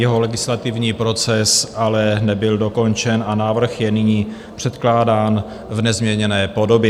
Jeho legislativní proces ale nebyl dokončen a návrh je nyní předkládán v nezměněné podobě.